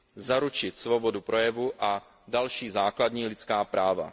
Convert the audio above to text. zaručit svobodu projevu a další základní lidská práva.